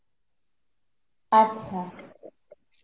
আচ্ছা